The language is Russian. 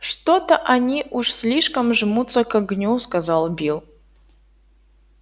что-то они уж слишком жмутся к огню сказал билл